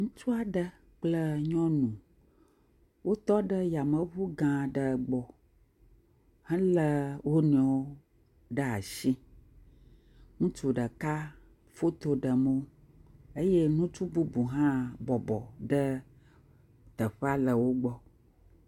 Ŋutsu aɖe kple nyɔnu wotɔ ɖe yameŋu gã aɖe gbɔ helé wonuiwo ɖe asi. Ŋutsu ɖeka foto ɖem wo eye ŋutus bubu hã bɔbɔ ɖe teƒea le wo gbɔ.